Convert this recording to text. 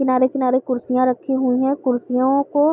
किनारे-किनारे कुर्सियां रखी हुई हैं कुर्सियों को --